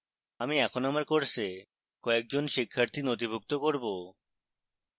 আমি এখন আমার course কয়েকজন শিক্ষার্থী নথিভুক্ত করব